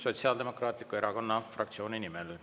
Sotsiaaldemokraatliku Erakonna fraktsiooni nimel.